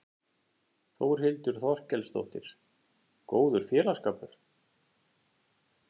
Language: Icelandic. Þórhildur Þorkelsdóttir: Góður félagsskapur?